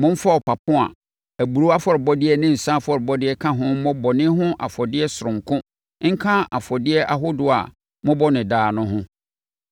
Momfa ɔpapo a aburoo afɔrebɔdeɛ ne nsã afɔrebɔdeɛ ka ho mmɔ bɔne ho afɔdeɛ sononko nka afɔdeɛ ahodoɔ a mobɔ no daa no ho.